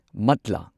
ꯃꯠꯂꯥ